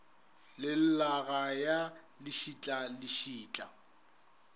le llaga ya lešetla lešetla